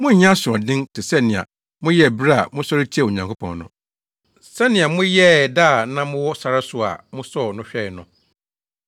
monnyɛ asoɔden te sɛ nea moyɛɛ bere a mosɔre tiaa Onyankopɔn no; sɛnea moyɛɛ da a na mowɔ sare so a mosɔɔ no hwɛe no.